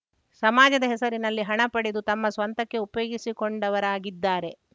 ಸಮಾಜದ ಹೆಸರಿನಲ್ಲಿ ಹಣ ಪಡೆದು ತಮ್ಮ ಸ್ವಂತಕ್ಕೆ ಉಪಯೋಗಿಸಿಕೊಂಡವರಾಗಿದ್ದಾರೆ